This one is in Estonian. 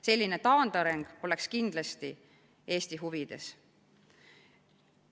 Selline taandareng poleks kindlasti Eesti huvides.